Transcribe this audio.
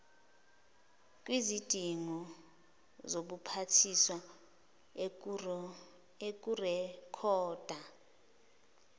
kwizidingo zobuphathiswa ukurekhoda